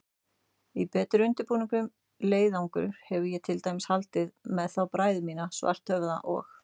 Í betur undirbúinn leiðangur hefði ég til dæmis haldið með þá bræður mína, Svarthöfða og